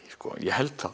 ég held það